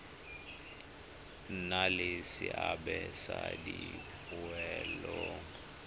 nna le seabe mo dipoelong